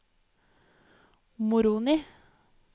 Moroni